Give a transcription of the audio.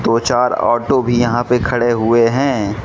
दो चार ऑटो भी यहां पे खड़े हुए हैं।